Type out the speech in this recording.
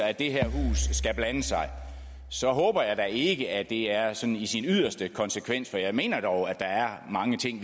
at det her hus skal blande sig så håber jeg da ikke at det er sådan i sin yderste konsekvens for jeg mener dog at der er mange ting